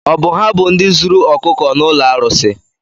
Ọ bụ ha bụ ndị zuru ọkụkọ n'ụlọ arụsị?